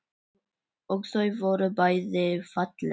Og þau voru bæði falleg.